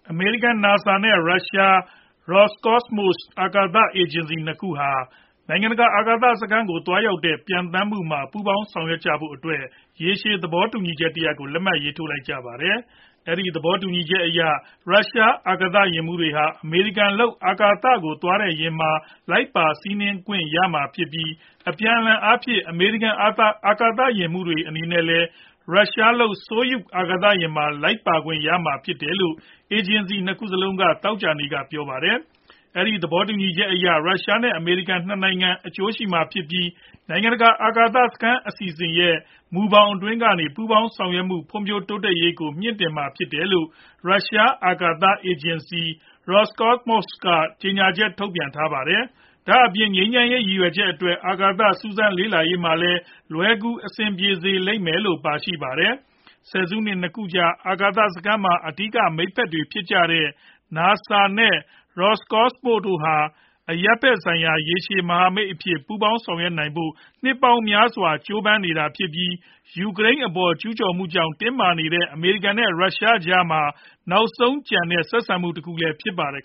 အမေရိကန် NASA နဲ့ ရုရှား Roscosmos အာကာသအေဂျင်စီ ၂ ခုတို့ဟာ နိုင်ငံတကာ အာကာသစခန်းကို သွားရောက်တဲ့ ပျံသန်းမှုမှာ ပူးပေါင်းဆောင်ရွက်ဖို့အတွက် ရေရှည်သဘောတူညီချက်တရပ်ကို လက်မှတ်ထိုးကြပါတယ်။ အဲဒီသဘောတူညီချက်အရ ရုရှား အာကာသယာဉ်မှူးတွေဟာ အမေရိကန်လုပ် အာကာသကို သွားတဲ့ယာဉ်မှာ လိုက်ပါစီးနင်းခွင့်ရမှာဖြစ်ပြီး အပြန်အလှန်အားဖြင့် အမေရိကန် အာကာသယာဉ်မှူးတွေ အနေနဲ့လည်း ရုရှားလုပ် Soyuz အာကာသယာဉ်မှာ လိုက်ပါခွင့်ရမှာဖြစ်တယ်လို့ အေဂျင်စီ ၂ခုစလုံးက သောကြာနေ့က ပြောပါတယ်။ အဲဒီသဘောတူညီချက်ဟာ ရုရှား နဲ့ အမေရိကန် ၂ နိုင်ငံ အကျိုးရှိမှာ ဖြစ်ပြီး နိုင်ငံတကာ အာကာသစခန်း အစီအစဉ် ရဲ့ မူဘောင်အတွင်းကနေ ပူးပေါင်းဆောင်ရွက်မှု ဖွံဖြိုးတိုးတက်ရေးကို မြှင့်တင်ပေးမှာဖြစ်တယ်လို့ ရုရှား အာကာသ အေဂျင်စီ Roscosmos က ကြေညာချက်ထုတ်ပြန်ထားပါတယ်။ ဒါအပြင် ငြိမ်းချမ်းရေး ရည်ရွယ်ချက်အတွက် အာကာသ စူးစမ်းလေ့လာရေးမှာလည်း လွယ်ကူအဆင်ပြေစေလိမ့်မယ်လို့လည်း ပါရှိပါတယ်။ ဆယ်စုနှစ် ၂ ခုကြာ အာကာသစခန်းမှာ အဓိက မိတ်ဖက်တွေဖြစ်ကြတဲ့ NASA နဲ့ Roscosmos တို့ဟာ အရပ်ဖက်ဆိုင်ရာ ရေရှည် မဟာမိတ်အဖြစ် ပူးပေါင်းဆောင်ရွက်နိုင်ဖို့ နှစ်ပေါင်းများစွာ ကြိုးပမ်းနေတာဖြစ်ပြီး၊ ယူကရိန်းအပေါ် ကျုးကျော်မှုကြောင့် တင်းမာနေတဲ့ အမေရိကန်နဲ့ ရုရှားကြားမှာ နောက်ဆုံးကျန်နေတဲ့ ဆက်ဆံမှု တခုလည်း ဖြစ်ပါတယ်